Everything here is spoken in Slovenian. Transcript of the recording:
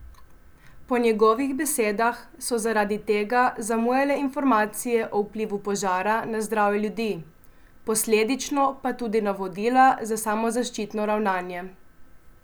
Po njegovih besedah so zaradi tega zamujale informacije o vplivu požara na zdravje ljudi, posledično pa tudi navodila za samozaščitno ravnanje.